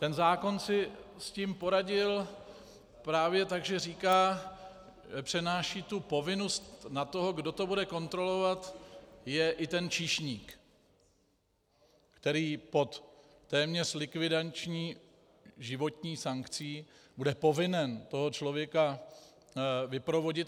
Ten zákon si s tím poradil právě tak, že říká, přenáší tu povinnost na toho, kdo to bude kontrolovat, je i ten číšník, který pod téměř likvidační životní sankcí bude povinen toho člověka vyprovodit.